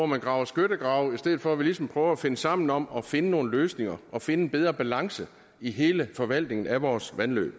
man graver skyttegrave i stedet for at vi ligesom prøver at finde sammen om at finde nogle løsninger og finde en bedre balance i hele forvaltningen af vores vandløb